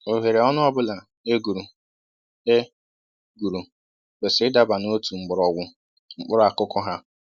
Ohere ọnụ ọbụla e guru e guru kwesịrị ịdaba n'otu mgbọrọgwụ mkpụrụ akụkụ ha